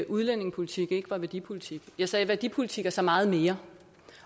udlændingepolitik ikke er værdipolitik jeg sagde at værdipolitik er så meget mere